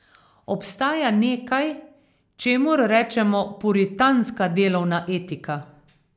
Obstaja nekaj, čemur rečemo puritanska delovna etika.